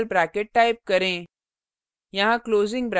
दो opening angle brackets type करें